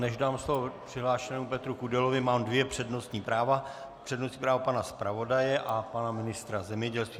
Než dám slovo přihlášenému Petru Kudelovi, mám dvě přednostní práva, přednostní právo pana zpravodaje a pana ministra zemědělství.